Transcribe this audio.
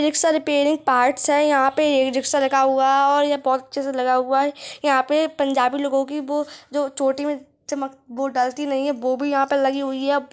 एक सर पेड़े पार्ट्स हैं यहाँ पे रखा हुआ हैं या बहुत अच्छा से लगा हुआ हैं यहाँ पे पंजाबी लोगों की वो जो चोटी मे चमक डालती नहीं हैं वो भी यहाँ पे लगी हुई हैं।